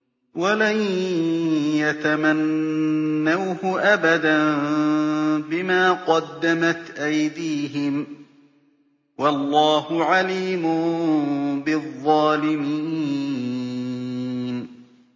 وَلَن يَتَمَنَّوْهُ أَبَدًا بِمَا قَدَّمَتْ أَيْدِيهِمْ ۗ وَاللَّهُ عَلِيمٌ بِالظَّالِمِينَ